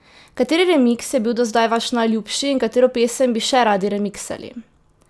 Kateri remiks je bil do zdaj vaš najljubši in katero pesem bi še radi remiksali?